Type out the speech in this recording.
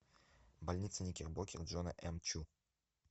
больница никербокер джона м чу